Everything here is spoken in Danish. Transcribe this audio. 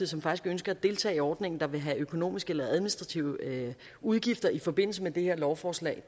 som faktisk ønsker at deltage i ordningen der vil have økonomiske eller administrative udgifter i forbindelse med det her lovforslag